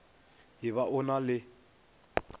e ba o na le